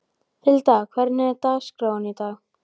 Hilda, hvernig er dagskráin í dag?